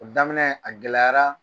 O daminɛ a gɛlɛyara.